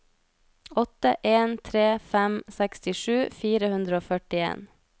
åtte en tre fem sekstisju fire hundre og førtien